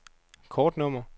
kortnummer